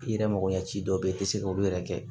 I yɛrɛ mako ɲɛ ci dɔ be yen i te se k'olu yɛrɛ kɛ